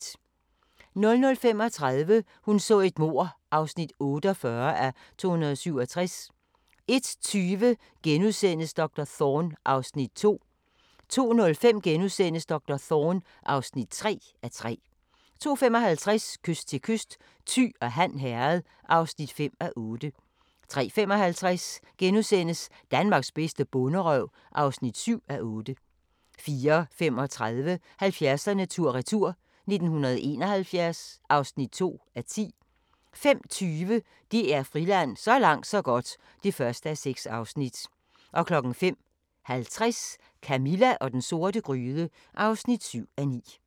00:35: Hun så et mord (48:267) 01:20: Doktor Thorne (2:3)* 02:05: Doktor Thorne (3:3)* 02:55: Kyst til kyst: Thy og Han Herred (5:8) 03:55: Danmarks bedste bonderøv (7:8)* 04:35: 70'erne tur-retur: 1971 (2:10) 05:20: DR Friland: Så langt så godt (1:6) 05:50: Camilla og den sorte gryde (7:9)